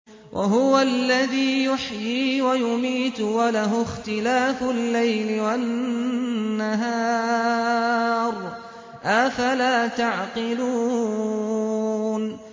وَهُوَ الَّذِي يُحْيِي وَيُمِيتُ وَلَهُ اخْتِلَافُ اللَّيْلِ وَالنَّهَارِ ۚ أَفَلَا تَعْقِلُونَ